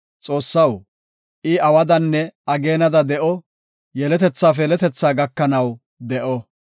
Xoossaw, I awadanne ageenada de7o; yeletethaafe yeletethaa gakanaw de7o.